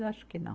Eu acho que não.